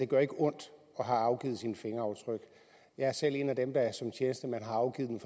gør ondt at afgive sine fingeraftryk jeg er selv en af dem der som tjenestemand har afgivet mine